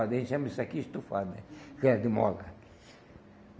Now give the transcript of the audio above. A gente chama isso aqui estufada mesmo, que era de mola.